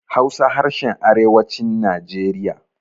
Hausa harshen arewacin najeriya